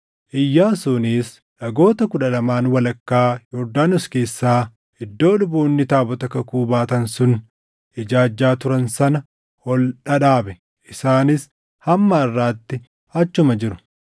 Iyyaasuunis dhagoota kudha lamaan walakkaa Yordaanos keessa iddoo luboonni taabota kakuu baatan sun ijaajjaa turan sana ol dhadhaabe. Isaanis hamma harʼaatti achuma jiru.